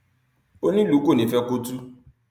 onílùú kò ní í fẹ kó tú